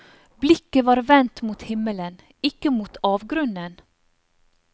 Blikket var vendt mot himmelen, ikke mot avgrunnen.